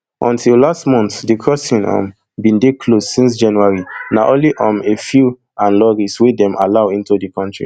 until last month di crossing um bin dey closed since january na only um a few aid lorries wey dem allow into di kontri